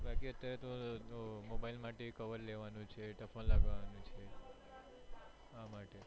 mobile માટે એક cover લેવાનું છે typhoon લગાવાનું છે આ માટે